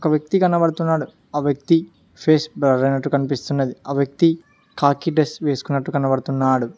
ఒక వ్యక్తి కనబడుతున్నాడు ఆ వ్యక్తి ఫేస్ బ్లర్ అయినట్టు కనిపిస్తున్నది ఆ వ్యక్తి కాకి డ్రెస్ వేసుకున్నట్టు కనపడుతున్నాడు.